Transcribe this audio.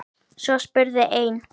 Svo spurði einn